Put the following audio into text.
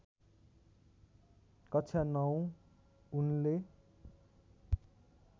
कक्षा ९ उनले